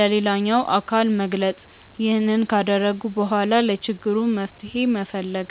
ለሌላኛው አካል መግለጽ። ይህንን ካደረጉ በኋላ ለችግሩ መፍትሄ መፈለግ።